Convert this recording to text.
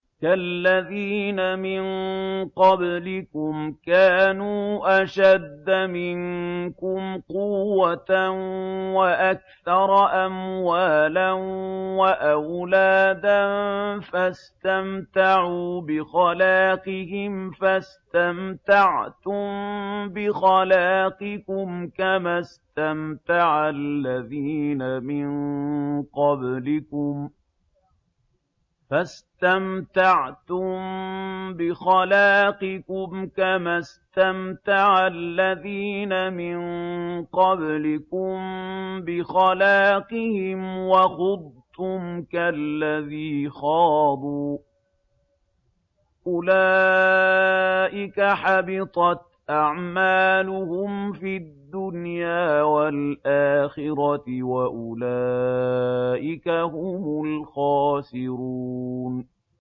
كَالَّذِينَ مِن قَبْلِكُمْ كَانُوا أَشَدَّ مِنكُمْ قُوَّةً وَأَكْثَرَ أَمْوَالًا وَأَوْلَادًا فَاسْتَمْتَعُوا بِخَلَاقِهِمْ فَاسْتَمْتَعْتُم بِخَلَاقِكُمْ كَمَا اسْتَمْتَعَ الَّذِينَ مِن قَبْلِكُم بِخَلَاقِهِمْ وَخُضْتُمْ كَالَّذِي خَاضُوا ۚ أُولَٰئِكَ حَبِطَتْ أَعْمَالُهُمْ فِي الدُّنْيَا وَالْآخِرَةِ ۖ وَأُولَٰئِكَ هُمُ الْخَاسِرُونَ